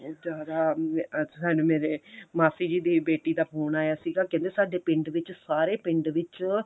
ਬਹੁਤ ਜ਼ਿਆਦਾ ਅੱਜ ਸਾਡੇ ਮੇਰੇ ਮਾਸੀ ਜੀ ਦੀ ਬੇਟੀ ਦਾ ਫੋਨ ਆਇਆ ਸੀਗਾ ਕਹਿੰਦੇ ਸਾਡੇ ਪਿੰਡ ਵਿੱਚ ਸਾਰੇ ਪਿੰਡ ਵਿੱਚ